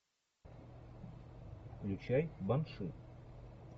включай банши